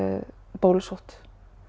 bólusótt